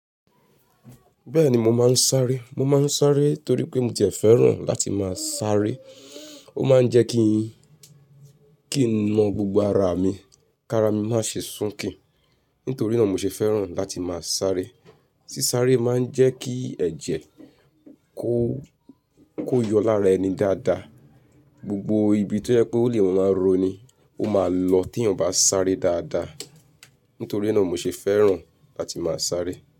Bẹ́ẹ̀ni mo máa ń sáré, mo máa ń sáré torí pé mo ti jẹ fẹ́ràn láti máa sáré. Ó máa ń jẹ́ kí, kí n na gbogbo ara mi, ká ara mi má ṣe sunki Nítorí náà mo ṣe fẹ́ràn láti máa sáré. Sí sáré máa ń jẹ́ kí ẹ̀jẹ̀ kó, kó yọ lára ẹni dáadáa. Gbogbo ibi tó yẹ kó lè máa roni, ó máa lọ tí èèyàn bá sáré dáadáa. Nítorí náà mo ṣe fẹ́ràn láti máa sáré.